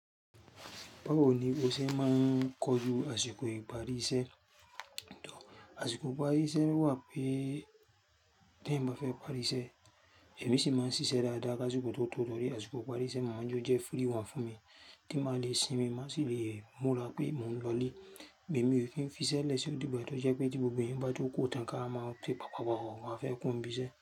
Bawo ni o ṣe máa ń kojú àsìkò ìparí iṣẹ́? Àṣìkò ìparí iṣẹ́ wà pé tẹ̀ èyàn bá fẹ́ parí iṣẹ́, ẹ̀mi sì máa ń ṣíṣe dáadáa kásìkò tó tọ, tó rí àsìkò ìparí iṣẹ́. Màá jo jẹ́ free one fún mi tí màá le sinmi, màá sì le mura pé mò ń lọlé. Ẹ̀mi ò kí ń fi iṣẹ́ lè sí odí gba tó jẹ́ pé tí gbogbo ẹ̀eyan bà tó kurọ́ tán ká wa máa kè, papapa pa fẹ́ kúro n ibi iṣẹ́".